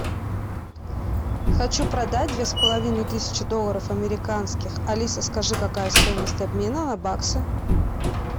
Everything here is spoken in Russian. хочу продать две с половиной тысячи долларов американских алиса скажи какая стоимость обмена на баксы